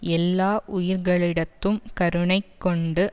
எல்லா உயிர்களிடத்தும் கருணைக்கொண்டு